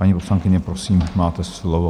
Paní poslankyně, prosím, máte slovo.